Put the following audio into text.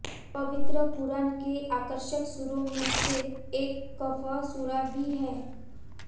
पवित्र क़ुरआन के आकर्षक सूरों में से एक कहफ़ सूरा भी है